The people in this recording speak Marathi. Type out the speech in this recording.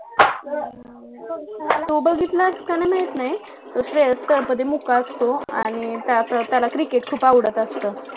हम्म तू बघितलास कि नाही माहित नाही तू त्यामध्ये मुक्का असतो आणि त्याचं त्याला cricket खूप आवडत असतं